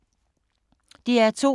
DR2